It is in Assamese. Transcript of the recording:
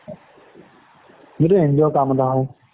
এইটো NGO ৰ কাম এটা হয়